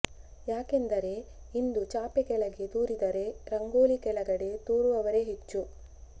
ಯಾಕೆಂದರೆ ಇಂದು ಚಾಪೆ ಕೆಳಗೆ ತೂರಿದರೆ ರಂಗೋಲಿ ಕೆಳಗಡೆ ತೂರುವವರೇ ಹೆಚ್ಚು